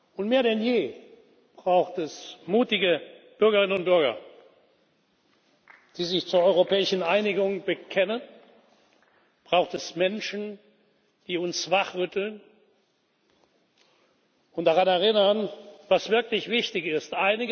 Und mehr denn je braucht es mutige Bürgerinnen und Bürger, die sich zur europäischen Einigung bekennen, braucht es Menschen, die uns wachrütteln und daran erinnern, was wirklich wichtig ist.